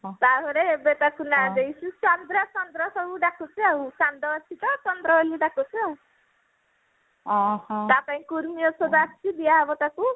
ତାପରେ ଏବେ ସବୁ ନାଁ ଦେଇଛୁ ଚନ୍ଦ୍ର ଚନ୍ଦ୍ର ବୋଲି ଡାକୁଛୁ ଚାନ୍ଦ ଅଛି ତ ଚନ୍ଦ୍ର ବୋଲି ଡାକୁଛୁ ଆଉ ତା ପାଇଁ କୁର୍ମି ଔଷଧ ଆସିଛି ଦିଆହବ ତାକୁ